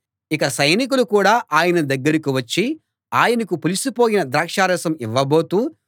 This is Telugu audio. ఇక సైనికులు కూడా ఆయన దగ్గరికి వచ్చి ఆయనకు పులిసిపోయిన ద్రాక్షారసం ఇవ్వబోతూ